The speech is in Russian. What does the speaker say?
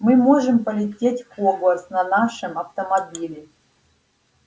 мы можем полететь в хогвартс на нашем автомобиле